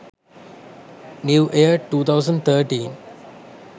new year 2013